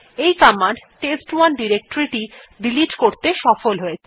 এই কমান্ড টেস্ট1 ডিরেক্টরী টিকে ডিলিট করতে সফল হয়েছে